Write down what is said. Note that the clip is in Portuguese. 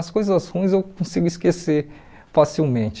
As coisas ruins eu consigo esquecer facilmente.